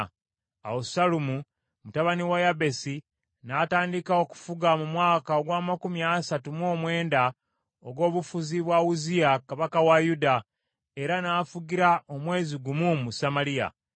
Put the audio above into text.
Awo Sallumu mutabani wa Yabesi n’atandika okufuga mu mwaka ogw’amakumi asatu mu mwenda ogw’obufuzi bwa Uzziya kabaka wa Yuda, era n’afugira omwezi gumu mu Samaliya.